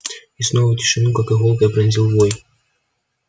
и снова тишину как иголкой пронзил вой